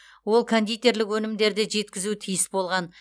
ол кондитерлік өнімдерді жеткізуі тиіс болған